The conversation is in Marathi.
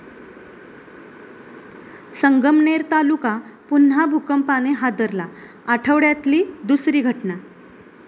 संगमनेर तालुका पुन्हा भूकंपाने हादरला, आठवड्यातली दुसरी घटना